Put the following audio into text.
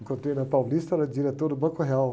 Encontrei na Paulista, era diretor do Banco Real.